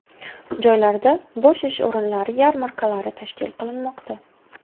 Joylarda bo‘sh ish o‘rinlari yarmarkalari tashkil qilinmoqda.